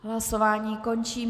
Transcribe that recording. Hlasování končím.